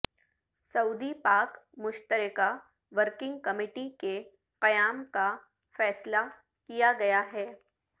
سعودی پاک مشترکہ working committee کے قیام کا فیصلہ کیا گیا ہے